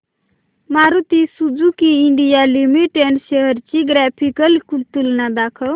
Maruti Suzuki India limited shares ची graphical तुलना दाखव